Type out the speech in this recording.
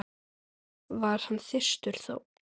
var hann þyrstur þó.